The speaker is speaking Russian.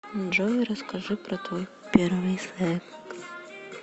джой расскажи про твой первый секс